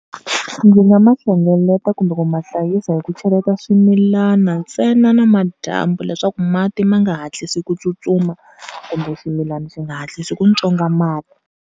Ndzi nga ma hlengeleta kumbe ku ma hlayisa hi ku cheleta swimilana ntsena namadyambu, leswaku mati ma nga hatlisi kutsutsuma kumbe swimilana swi nga hatlisi ku tswonga mati.